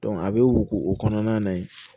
a bɛ wo kɔnɔna na yen